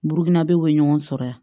Burukinabe bɛ ɲɔgɔn sɔrɔ yan